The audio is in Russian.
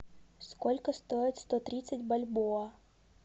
сколько стоит сто тридцать бальбоа